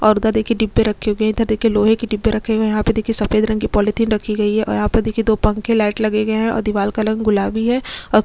और उधर दिखिए डिब्बे रखे हुए हैं और इधर देखे लोहे के डिब्बे रखे हुए है और यहाँ पे देखिए सफेद रंग की पॉलिथीन रखी गयी है और यहाँ पे देखिए दो पंखे लाइट लगे गए है और दीवाल का रंग गुलाबी है और --